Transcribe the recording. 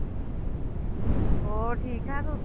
ਹੋਰ ਠੀਕ ਠਾਕ ਹੋ